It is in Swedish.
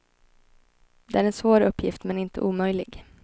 Det är en svår uppgift, men inte omöjlig.